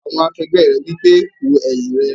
Àwọn akẹgbẹ́ rẹ̀ wí pé "wo ẹ̀yìn rẹ!"